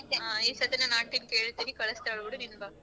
ಆ ಈ ಸತಿ ನಾನ್ aunty ಕೇಳ್ತೀನಿ ಕಳ್ಸ್ತಾಳ್ ಬಿಡು ನೀನ್ ಬಾ.